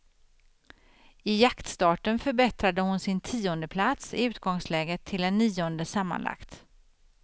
I jaktstarten förbättrade hon sin tiondeplats i utgångsläget till en nionde sammanlagt.